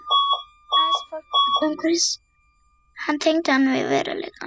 Aðeins fólkið umhverfis hann tengdi hann við veruleikann.